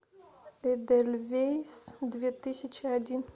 эдельвейс две тысячи один